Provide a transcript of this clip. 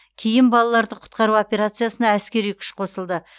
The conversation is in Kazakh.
кейін балаларды құтқару операциясына әскери күш қосылды